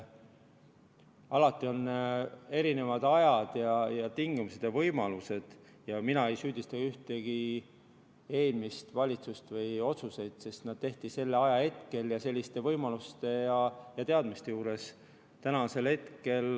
Alati on erinevad ajad ja tingimused ja võimalused ja mina ei süüdista ühtegi eelmist valitsust või varasemaid otsuseid, sest need tehti sel ajahetkel ja selliste võimaluste ja teadmiste juures.